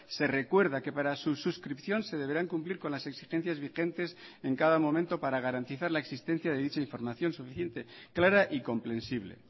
se recuerda que para su suscripción se deberán cumplir con las exigencias vigentes en cada momento para garantizar la existencia de dicha información suficiente clara y comprensible